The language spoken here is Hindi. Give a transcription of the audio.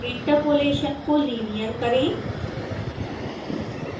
interpolation को linear करें